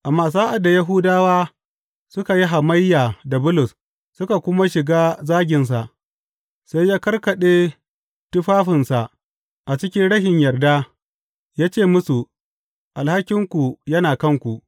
Amma sa’ad da Yahudawa suka yi hamayya da Bulus suka kuma shiga zaginsa, sai ya karkaɗe tufafinsa a cikin rashin yarda, ya ce musu, Alhakinku yana a kanku!